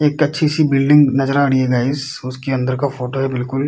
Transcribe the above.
एक अच्छी-सी बिल्डिंग नजर आ रही हैं गईस उसके अंदर का फोटो है बिल्कुल |